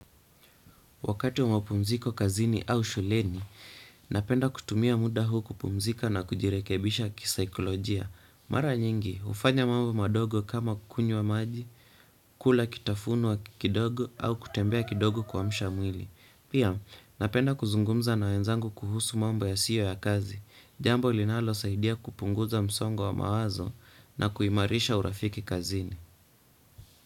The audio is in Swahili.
Wakati wa mapumziko kazini au shuleni, napenda kutumia muda huu kupumzika na kujirekebisha kisaikolojia. Mara nyingi, ufanya mambo madogo kama kukunywa maji, kula kitafunwa kidogo au kutembea kidogo kuamsha mwili. Pia, napenda kuzungumza na wenzangu kuhusu mambo yasiyo ya kazi. Jambo linalosaidia kupunguza msongo wa mawazo na kuimarisha urafiki kazini.